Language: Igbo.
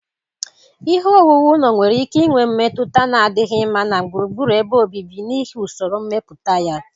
Ihe owuwu ụlọ nwere ike inwe mmetụta na-adịghị mma na gburugburu ebe obibi n'ihi usoro mmepụta ha